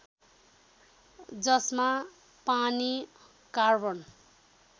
जसमा पानी कार्बन